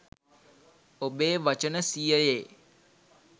ඔබේ වචන සියයේ